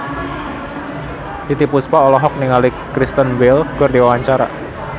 Titiek Puspa olohok ningali Kristen Bell keur diwawancara